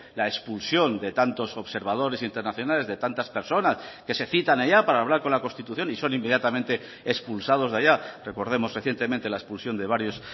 la expulsión de tantos observadores internacionales de tantas personas que se citan allá para hablar con la constitución y son inmediatamente expulsados de allá recordemos recientemente la expulsión de varios